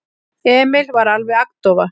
Emil var alveg agndofa.